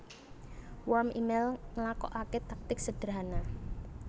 Worm émail nglakokaké taktik sederhana